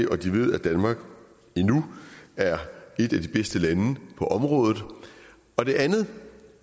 og de ved at danmark endnu er et af de bedste lande på området og det andet